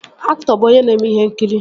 Aktọ bụ onye na-eme ihe nkiri